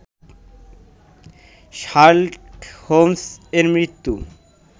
Sherlock হোমস্-এর মৃত্যু